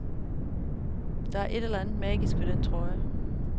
Der er et eller andet magisk ved den trøje.